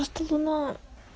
а что за на